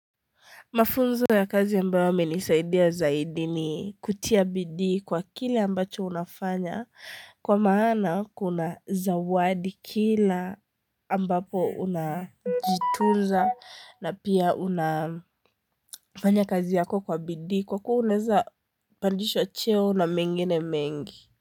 Mafunzo ya kazi ambayo yamenisaidia zaidi ni kutia bidii kwa kile ambacho unafanya kwa maana kuna zawadi kila ambapo unajituza na pia unafanya kazi yako kwa bidii kwa kuwa unaeza pandishwa cheo na mengine mengi.